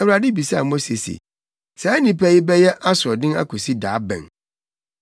Awurade bisaa Mose se, “Saa nnipa yi bɛyɛ asoɔden akosi da bɛn?